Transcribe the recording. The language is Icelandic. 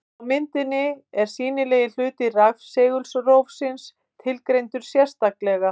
Á myndinni er sýnilegi hluti rafsegulrófsins tilgreindur sérstaklega.